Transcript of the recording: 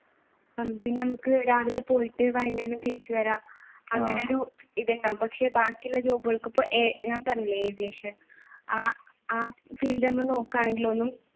പിന്നെ നമുക്ക് രാവിലെ പോയിട്ട് വൈകുന്നേരം തിരിച്ചു വരാം അങ്ങനെ ഒരു ഇതുണ്ട് പക്ഷെ ബാക്കിയുള്ള job കൾക്ക് ഇപ്പൊ നമ്മുക്കറിയില്ലേ aviation ആ field നമ്മൾ നോക്കുകയാണെങ്കിൽ